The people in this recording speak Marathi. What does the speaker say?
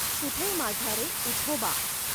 कुठे माझा रे इठोबा